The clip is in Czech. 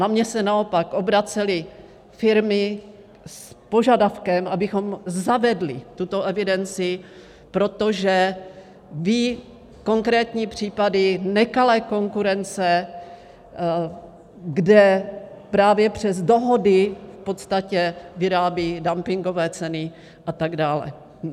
Na mě se naopak obracely firmy s požadavkem, abychom zavedli tuto evidenci, protože ví konkrétní případy nekalé konkurence, kde právě přes dohody v podstatě vyrábí dumpingové ceny, a tak dále.